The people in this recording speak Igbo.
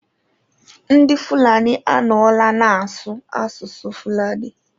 Ndị Fulani anọla na-asụ asụsụ Fulani.